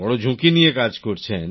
বড় ঝুঁকি নিয়ে কাজ করছেন